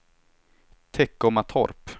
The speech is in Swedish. Teckomatorp